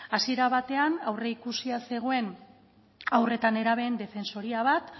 hasiera batean aurreikusia zegoen haur eta nerabeen defensoria bat